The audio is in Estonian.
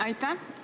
Aitäh!